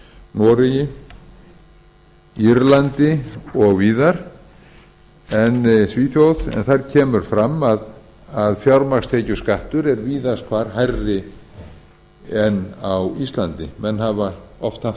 noregi írlandi svíþjóð og víðar þar kemur fram að fjármagnstekjuskattur er víðast hvar hærri en á íslandi menn hafa oft haft á